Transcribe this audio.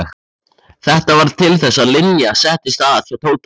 Þetta varð til þess að Linja settist að hjá Tóta.